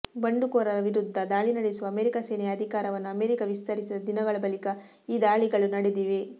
ಬಂಡುಕೋರರ ವಿರುದ್ಧ ದಾಳಿ ನಡೆಸುವ ಅಮೆರಿಕ ಸೇನೆಯ ಅಧಿಕಾರವನ್ನು ಅಮೆರಿಕ ವಿಸ್ತರಿಸಿದ ದಿನಗಳ ಬಳಿಕ ಈ ದಾಳಿಗಳು ನಡೆದಿವೆ